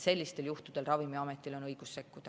Sellistel juhtudel on Ravimiametil õigus sekkuda.